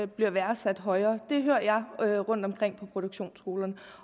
bliver værdsat højere det hører jeg rundtomkring på produktionsskolen